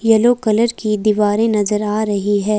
Yellow colour की दीवारें नजर आ रही है।